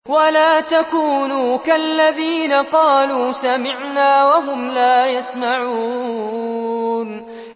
وَلَا تَكُونُوا كَالَّذِينَ قَالُوا سَمِعْنَا وَهُمْ لَا يَسْمَعُونَ